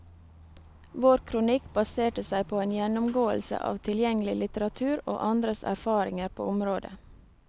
Vår kronikk baserte seg på en gjennomgåelse av tilgjengelig litteratur og andres erfaringer på området.